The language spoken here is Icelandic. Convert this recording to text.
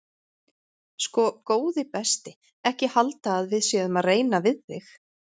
Sko góði besti ekki halda að við séum að reyna við þig.